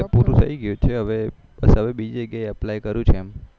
ત્યાં પૂરુંથઇ ગ્યું છે હવે બીજે કઈ અપ્લાય કરું એમ છુ એમ